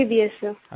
MBBS सिर